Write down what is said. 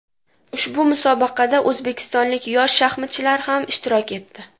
Ushbu musobaqada o‘zbekistonlik yosh shaxmatchilar ham ishtirok etdi.